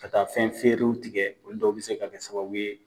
Ka taa fɛn feeriw tigɛ olu dɔ bɛ se ka kɛ sababu ye.